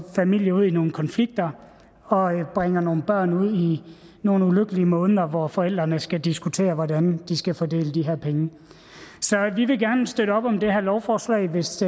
familier ud i nogle konflikter og bringer nogle børn ud i nogle ulykkelige måneder hvor forældrene skal diskutere hvordan de skal fordele de her penge så vi vil gerne støtte op om det her lovforslag hvis